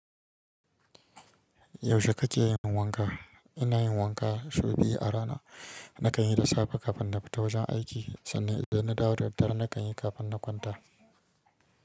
Yaushe kake yin wanka? Ina yin wanka sau biyu a rana. Nakan yi da safe kafin na fita wajen aiki sannan idan na dawo da daddare nakan ƴi kafin na kwanta.